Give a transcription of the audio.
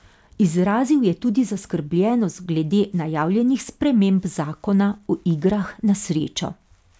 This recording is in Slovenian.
Izrazil je tudi zaskrbljenost glede najavljenih sprememb zakona o igrah na srečo.